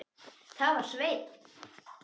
Það var Sveinn.